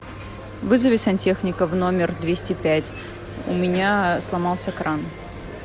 вызови сантехника в номер двести пять у меня сломался кран